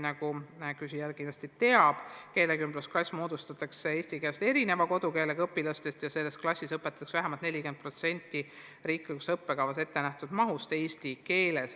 Nagu küsija kindlasti teab, keelekümblusklass moodustatakse õpilastest, kelle kodukeel pole eesti keel, ja sellises klassis õpetatakse vähemalt 40% riiklikus õppekavas ettenähtud mahust eesti keeles.